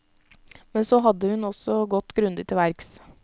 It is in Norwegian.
Men så hadde hun også gått grundig til verks.